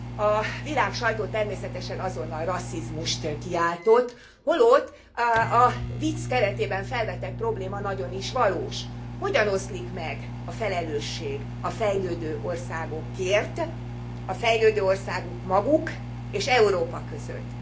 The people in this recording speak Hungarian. A világsajtó természetesen azonnal rasszizmust kiáltott, holott a vicc keretében felvetett probléma nagyon is valós hogyan oszlik meg a felelősség a fejlődő országokért maguk fejlődő országok és Európa között?